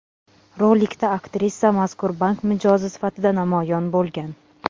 Rolikda aktrisa mazkur bank mijozi sifatida namoyon bo‘lgan.